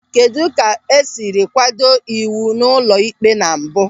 Kedụ ka o siri kwado ịwụ ụlọikpe na mbụ?